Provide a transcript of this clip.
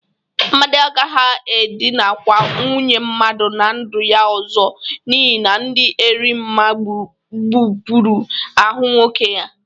Amadị agaghị edịnakwa nwunye mmadụ na ndu ya ọzọ n'ihi na dị Erimma gbupuru ahụ nwoke ya.